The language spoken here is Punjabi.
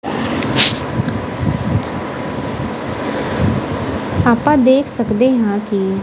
ਆਪਾਂ ਦੇਖ ਸਕਦੇ ਹਾਂ ਕਿ--